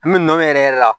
An bɛ nɔ yɛrɛ yɛrɛ la